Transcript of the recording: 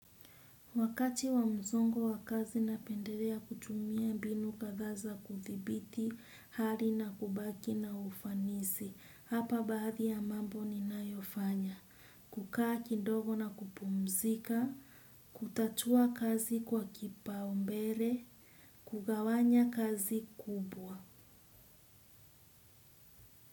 Wakati wa mzongo wakazi na penderea kutumia binu kathaa za kuthibiti, hali na kubaki na ufanisi. Hapa baadhi ya mambo ni nayofanya. Kukaa kindogo na kupumzika, kutatua kazi kwa kipa umbere, kugawanya kazi kubwa.